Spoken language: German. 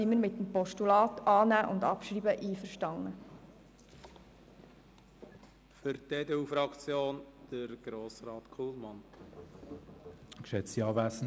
Deshalb sind wir einverstanden, das Postulat anzunehmen und abzuschreiben.